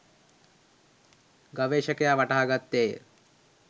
ගවේෂකයා වටහා ගත්තේය.